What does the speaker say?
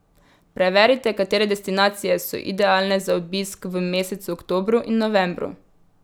Preverite, katere destinacije so idealne za obisk v mesecu oktobru in novembru.